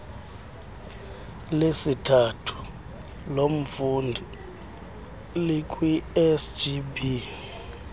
lesithathu lomfundi likwisgb